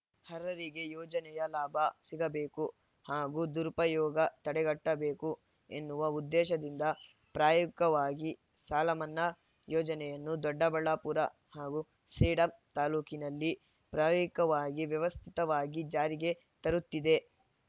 ಅರ್ಹರಿಗೆ ಯೋಜನೆಯ ಲಾಭ ಸಿಗಬೇಕು ಹಾಗೂ ದುರುಪಯೋಗ ತಡೆಗಟ್ಟಬೇಕು ಎನ್ನುವ ಉದ್ದೇಶದಿಂದ ಪ್ರಾಯೋಗಿಕವಾಗಿ ಸಾಲ ಮನ್ನಾ ಯೋಜನೆಯನ್ನು ದೊಡ್ಡಬಳ್ಳಾಪುರ ಹಾಗೂ ಸೇಡಂ ತಾಲೂಕಿನಲ್ಲಿ ಪ್ರಾಯೋಗಿಕವಾಗಿ ವ್ಯವಸ್ಥಿತವಾಗಿ ಜಾರಿಗೆ ತರುತ್ತಿದೆ